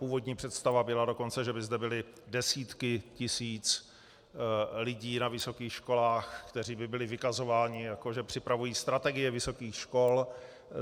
Původní představa byla dokonce, že by zde byly desítky tisíc lidí na vysokých školách, kteří by byli vykazováni, jako že připravují strategie vysokých škol.